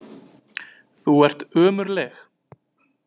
Þú ert ömurleg.